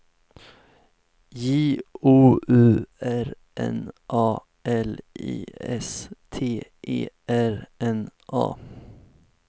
J O U R N A L I S T E R N A